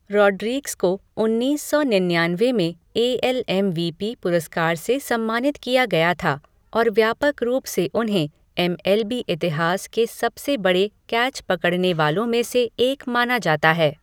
Rodriguez को उन्नीस सौ निन्यानवे में A L M V P पुरस्कार से सम्मानित किया गया था और व्यापक रूप से उन्हें एम एल बी इतिहास के सबसे बड़े कैच पकड़ने वालों में से एक माना जाता है।